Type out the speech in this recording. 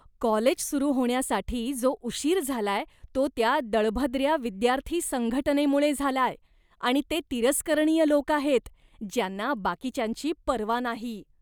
College सुरू होण्यासाठी जो उशीर झालाय तो त्या दळभद्र्या विद्यार्थी संघटनेमुळे झालाय आणि ते तिरस्करणीय लोक आहेत, ज्यांना बाकीच्यांची पर्वा नाही.